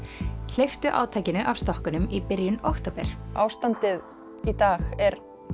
hleyptu átakinu af stokkunum í byrjun október ástandið í dag er